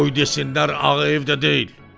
"Qoy desinlər Ağayev də deyil."